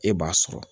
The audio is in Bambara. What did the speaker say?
E b'a sɔrɔ